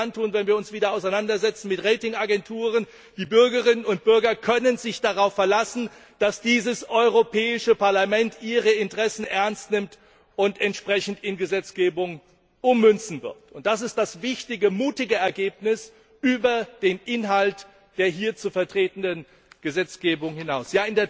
Wir werden es dann tun, wenn wir uns wieder mit Ratingagenturen auseinandersetzen. Die Bürgerinnen und Bürger können sich darauf verlassen, dass dieses Europäische Parlament ihre Interessen ernst nimmt und entsprechend in Gesetzgebung ummünzen wird. Das ist das wichtige, mutige Ergebnis über den Inhalt der hier zu vertretenden Gesetzgebung hinaus.